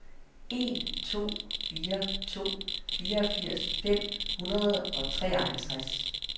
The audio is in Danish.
en to fire to fireogfirs fem hundrede og treoghalvtreds